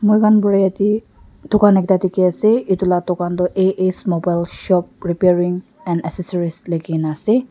moi kan para yadae tokan ekta diki asae etu laa tokan toh A_S mobile shop repairing and accessories likikina asae.